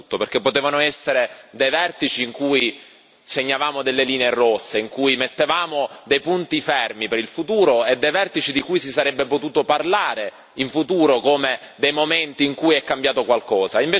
Perché potevano essere dei vertici in cui segnavamo delle linee rosse, in cui mettevamo dei punti fermi per il futuro e dei vertici di cui si sarebbe potuto parlare, in futuro, come dei momenti in cui è cambiato qualcosa.